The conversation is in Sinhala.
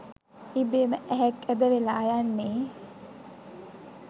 ඉබේම ඇහැක් ඇද වෙලා යන්නේ